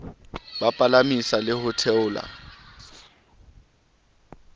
ba palamisa le ho theola